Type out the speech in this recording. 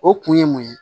O kun ye mun ye